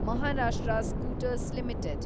Maharashtra scooters limited